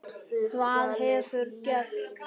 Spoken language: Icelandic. Hvað hefur gerst?